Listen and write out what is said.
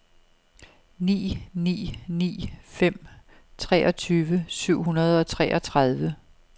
ni ni ni fem treogtyve syv hundrede og treogtredive